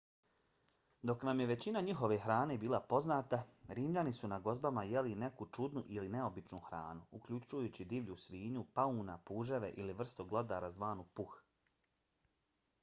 dok nam je većina njihove hrane bila poznata rimljani su na gozbama jeli i neku čudnu ili neobičnu hranu uključujući divlju svinju pauna puževe i vrstu glodara zvanu puh